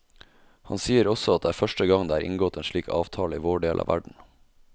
Han sier også at det er første gang det er inngått en slik avtale i vår del av verden.